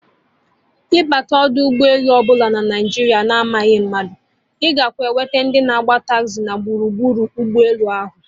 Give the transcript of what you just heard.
Ịbata ọdọ ụgbọ elu ọbụla na Naijiria na amaghị mmadụ, ịga enweta ndị na-agba taxi na gburugburu ụgbọ elu ahụ